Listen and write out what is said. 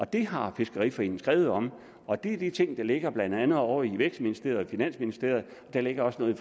det har fiskeriforeningen skrevet om og det er de ting der ligger blandt andet ovre i vækstministeriet og finansministeriet og der ligger også noget